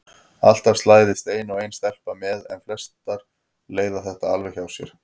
Alltaf slæðist ein og ein stelpa með en flestar leiða þetta alveg hjá sér.